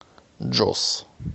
джос